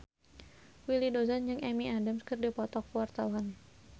Willy Dozan jeung Amy Adams keur dipoto ku wartawan